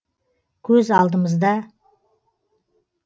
көз алдымызда